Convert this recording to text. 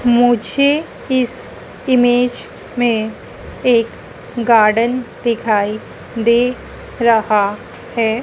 मुझे इस इमेज में एक गार्डन दिखाई दे रहा है।